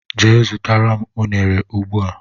Jee zụtara m unere ugbua!!!!